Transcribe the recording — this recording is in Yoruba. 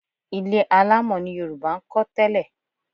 Ilé alámọ̀ ni Yorùbá ń kọ́ tẹ́lẹ̀